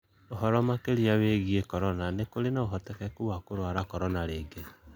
ũhoro makĩrĩa wĩgwĩ Korona: Nĩkũrĩ na ũhotekekũ wa kũrwara Korona rĩngĩ?